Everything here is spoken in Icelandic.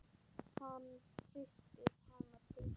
Hann hristir hana til.